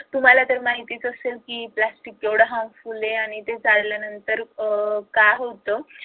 तुम्हाला तर माहितीच असेल की प्लास्टिक किती harmful आहे आणि ते जाळल्यानंतर काय होतं.